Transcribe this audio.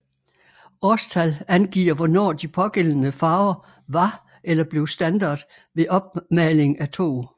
Årstal angiver hvornår de pågældende farver var eller blev standard ved opmaling af tog